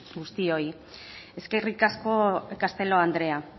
guztiok eskerrik asko castelo andrea